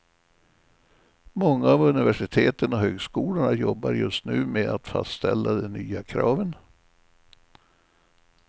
Många av universiteten och högskolorna jobbar just nu med att faställa de nya kraven.